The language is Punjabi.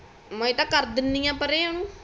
ਮੈਂ ਤਾ ਕਰ ਦਿੰਦੀ ਆ ਪਰੇ ਓਨੂੰ